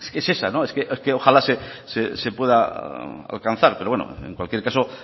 es esa es que ojalá se pueda alcanzar pero bueno en cualquier caso